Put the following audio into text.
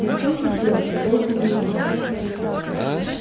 но в чём тут дело в толк не возьму